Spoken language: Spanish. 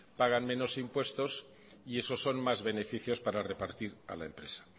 pagan menos impuestos y eso son más beneficios para repartir a la empresa